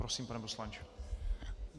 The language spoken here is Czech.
Prosím, pane poslanče.